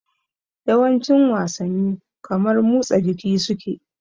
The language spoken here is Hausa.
Yawancin wasanni kamar mutsa jiki suke